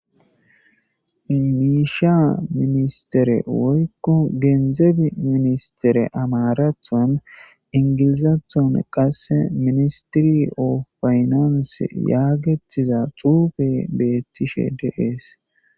miisha ministere woykko geenzeb ministere amarathan ingilizathon qase ministiri ofaynanse yaagetiza xuufe beettishe deees